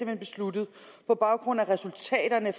hen besluttet på baggrund af resultaterne